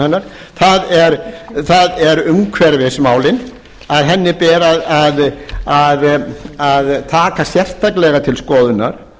um það í stjórnsýslustigi verkefnum hennar það eru umhverfismálin að henni ber að taka sérstaklega til skoðunar